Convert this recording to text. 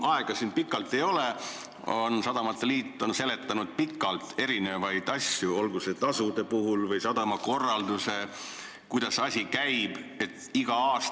Aega siin pikalt rääkida ei ole, aga sadamate liit on seletanud põhjalikult mitmesuguseid asju, käsitledes näiteks tasusid ja sadama eeskirja, mis on huvitatud isikutele alati kättesaadav.